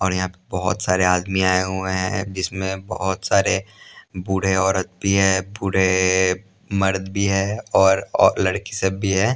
और यहाँ बहुत सारे आदमी आए हुए हैं जिसमें बहुत सारे बूढ़े औरत भी हैं बूढ़े मर्द भी हैं और लड़की सब भी हैं।